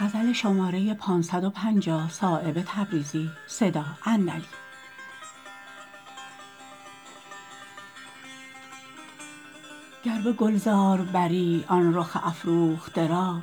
گر به گلزار بری آن رخ افروخته را